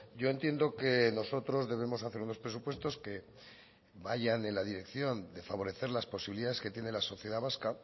yo entiendo que nosotros debemos hacer unos presupuestos que vayan en la dirección de favorecer las posibilidades que tiene la sociedad vasca